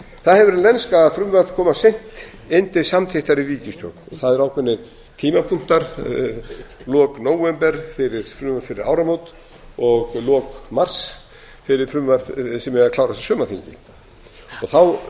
það hefur verið lenska að frumvörp koma seint inn til samþykktar í ríkisstjórn það eru ákveðnir tímapunkta lok nóvember fyrir frumvörp fyrir áramót og lok mars fyrir frumvörp sem eiga að